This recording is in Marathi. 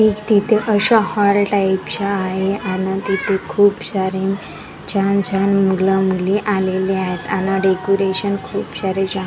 तिथ अश्या हॉल टाइप च्या आहे आन तिथ खूप सारे छान छान मूल मुली अलेले आहेत आन डेकोरेशन खूप --